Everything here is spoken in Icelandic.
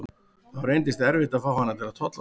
Þá reynist erfitt að fá hana til að tolla þar.